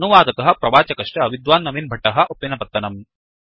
अनुवादकः प्रवाचकश्च विद्वान् नवीन् भट्टः उप्पिनपत्तनम्